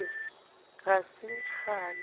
o re ga se kgale